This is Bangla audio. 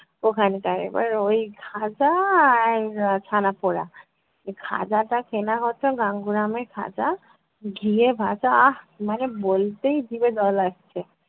ওখানকার। এবার ওই খাজা আর উহ ছানাপোড়া। খাজা টা কেনা হতো গাঙ্গুরামের খাজা, ঘিয়ে ভাজা, আহ! মানে বলতেই জিভে জল আসছে।